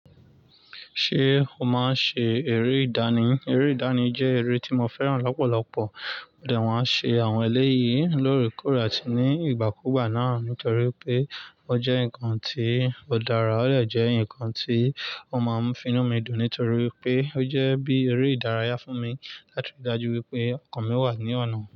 Ṣé o máa ń ṣe eré ìdánì? Eré ìdánì jẹ́ eré tí mo fẹ́ràn lọ́pọ̀lọpọ̀, ó dàwọ́ ṣe àwọn ẹlẹ́yìí lórí kòrò àti ní ìgbàkúùgbà náà nítorí pé ó jẹ́ nǹkan tí ó dára, ó dè jẹ́ ǹkan tí ó máa ń fi inú mi dùn nítorí pé ó jẹ́ bí eré ìdárayá fún mi láti ríi dájú wípé ọkàn mi wà ní ọ̀nà.